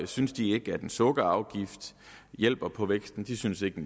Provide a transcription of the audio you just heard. synes de ikke at en sukkerafgift hjælper på væksten de synes ikke